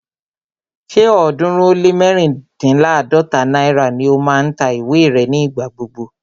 Ṣé ọ̀ọ́dúnrún ó lé mẹ́ríndínláàdọ́ta náírà ni ó máa ń ta ìwé rẹ̀ ní ìgbà gbogbo